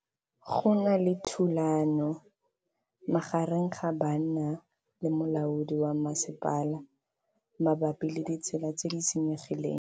Go na le thulanô magareng ga banna le molaodi wa masepala mabapi le ditsela tse di senyegileng.